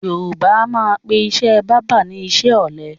Yorùbá a máa pè ìṣe báábà ni iṣẹ́ ọ̀lẹ